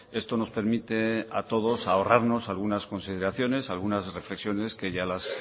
esto nos permite a todos ahorrarnos algunas consideraciones algunas reflexiones que ya las